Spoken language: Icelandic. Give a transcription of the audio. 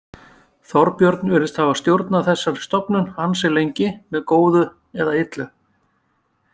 Þorbjörn virðist hafa stjórnað þessari stofnun ansi lengi, með góðu eða illu.